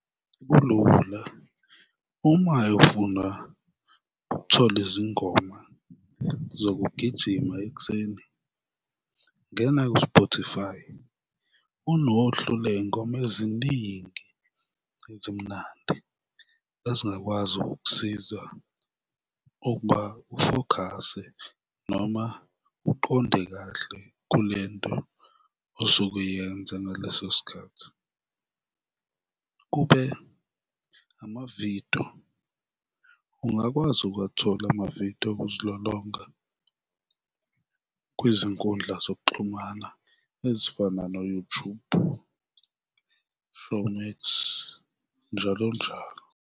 Kulula, uma ufuna ukuthola izingoma zokugijima ekuseni, ngena ku-Spotify, kunohlu ley'ngoma eziningi ezimnandi ezingakwazi ukukusiza ukuba ufokhase noma uqonde kahle kule nto osuke uyenza ngaleso sikhathi. Kube amavidiyo, ungakwazi ukuwathola amavidiyo okuzilolonga kwizinkundla zokuxhumana ezifana no-YouTube, Showmax, njalo njalo.